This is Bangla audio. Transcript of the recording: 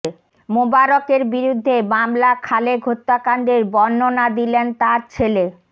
মোবারকের বিরুদ্ধে মামলা খালেক হত্যাকাণ্ডের বর্ণনা দিলেন তাঁর ছেলে